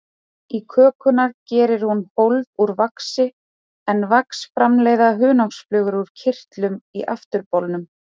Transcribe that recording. Í kökuna gerir hún hólf úr vaxi, en vax framleiða hunangsflugur úr kirtlum í afturbolnum.